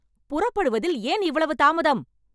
புறப்படுவதில் ஏன் இவ்வளவு தாமதம்